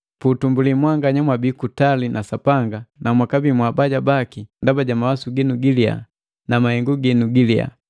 Puutumbuli mwanganya mwabii kutali na Sapanga na mwakabii mwabaja baki ndaba ja mawasu ginu giliya na mahengu ginu giliyaa.